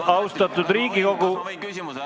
Austatud Riigikogu!